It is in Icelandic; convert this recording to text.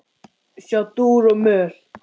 Sjá dúr og moll.